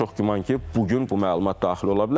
Çox güman ki, bu gün bu məlumat daxil ola bilər.